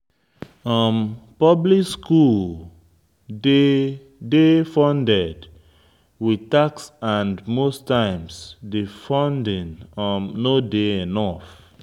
Public school dey de funded with tax and most times di funding no dey enough